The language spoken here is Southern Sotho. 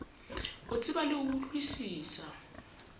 o tseba le ho utlwisisa